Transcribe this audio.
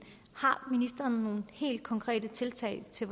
har ministeren nogle helt konkrete tiltag til